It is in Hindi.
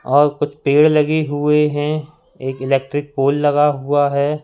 और कुछ पेड़ लगे हुए हैं एक इलेक्ट्रिक पोल लगा हुआ है।